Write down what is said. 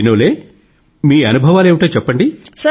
వినోలే మీ అనుభవాలేమిటో చెప్పండి